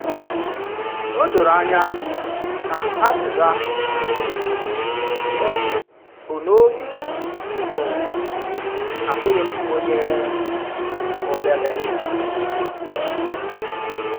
Ò dòrò ànyà ná àzìzà ọ̀ bụ n’òbì bụ, “Àbụ̀ghí m ònyè ọ̀bèlè!”